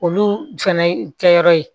Olu fɛnɛ kɛyɔrɔ ye